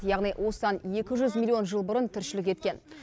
яғни осыдан екі жүз миллион жыл бұрын тіршілік еткен